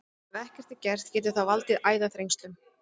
Ef ekkert er að gert getur það valdið æðaþrengslum.